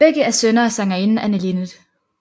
Begge er sønner af sangerinden Anne Linnet